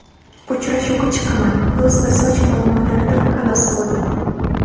Uchrashuvga chiqaman – yuz va soch muammolaridan xalos bo‘ldim!.